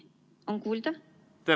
On kuulda?